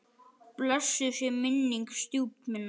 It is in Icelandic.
Blessuð sé minning stjúpu minnar.